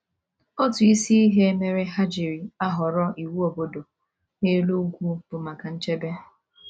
Otu isi ihe mere ha ji ahọrọ iwu obodo n’elu ugwu bụ maka nchebe.